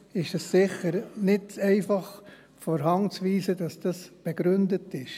Deshalb ist es sicher nicht einfach von der Hand zu weisen, dass dies begründet ist.